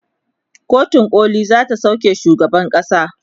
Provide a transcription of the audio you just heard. kotun koli zata sauke shugaban kasan